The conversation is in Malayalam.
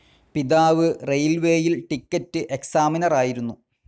പിതാവ് റെയിൽവേയിൽ ടിക്കറ്റ്സ്‌ ഏക്സാമിനറായിരുന്നു.